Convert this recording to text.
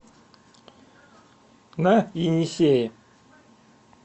на енисее